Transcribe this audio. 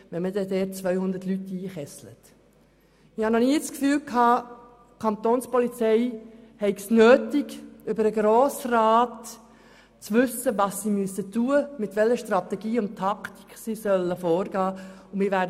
Ich hatte noch nie das Gefühl, die Kantonspolizei habe es nötig, vom Grossen Rat zu erfahren, was sie tun müsse und mit welcher Strategie und Taktik sie vorgehen sollte.